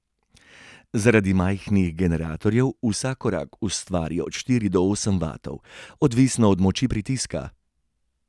Zaradi majhnih generatorjev vsak korak ustvari od štiri do osem vatov, odvisno od moči pritiska.